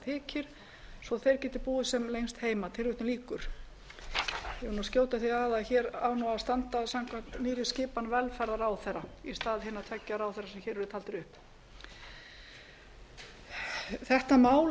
þykir svo að þeir geti búið sem lengst heima ég vil skjóta því að að hér á að standa samkvæmt nýrri skipan velferðarráðherra í stað hinna tveggja ráðherra sem hér eru taldir upp þetta mál